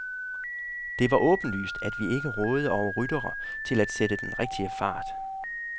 Det var åbenlyst, at vi ikke rådede over ryttere til at sætte den rigtige fart.